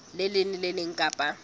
leng le le leng kapa